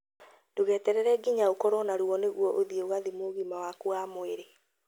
Ndũgeterere nginya ũkorwo na ruo nĩguo ũthiĩ ũgathimwo ũgima waku wa mwĩrĩ